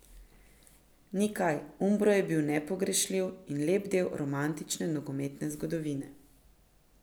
Ni kaj, Umbro je bil nepogrešljiv in lep del romantične nogometne zgodovine.